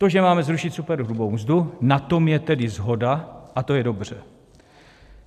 To, že máme zrušit superhrubou mzdu, na tom je tedy shoda a to je dobře.